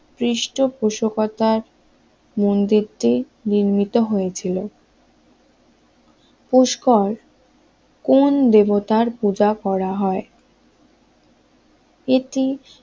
পৃষ্ঠপোষকতার মন্দিরটি নির্মিত হয়েছিল পুষ্কর কোন দেবতার পূজা করা হয়? এটি